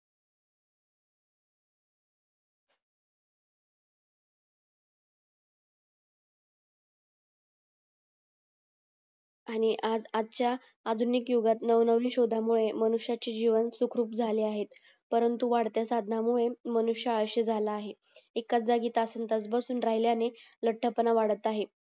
आणि आज आजच्या आधुनिक युगातला नवीन शोधा मुळे मनुष्याची हि जीवन सुखरूप झाले आहे परंतु वाढत्या साधनांमुळे मनुष्य आळशी झाला आहे एकाच जागी तासंतास बसून राहिल्याने लठ्ठपणा वाढत आहे